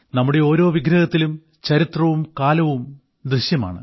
നമ്മുടെ ഓരോ വിഗ്രഹങ്ങളുടെയും ചരിത്രവും കാലവും ഇതിൽ ദൃശ്യമാണ്